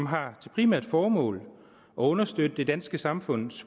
har som primært formål at understøtte det danske samfunds